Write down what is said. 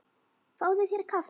Fáðu þér kaffi.